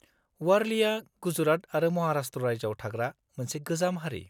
-वारलिआ गुजरात आरो महाराष्ट्र रायजोआव थाग्रा मोनसे गोजाम हारि।